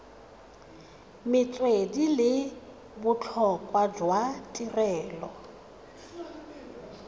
metswedi le botlhokwa jwa tirelo